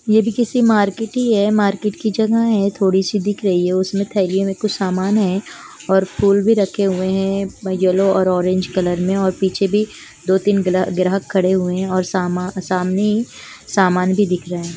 ये भी किसी मार्केट ही है मार्केट की जगह है थोड़ी सी दिख रही है उसमे थेलियो में कुछ सामान है और फुल भी रखे हुए है येलो और ओरेंज कलर में और पीछे भी दो -तीन गल-ग्राहक खड़े हुए है और सामा-सामने ही सामान भी दिख रहा है।